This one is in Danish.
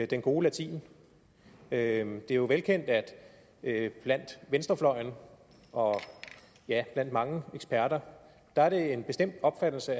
den gode latin det er jo velkendt at at blandt venstrefløjen og mange eksperter er det en bestemt opfattelse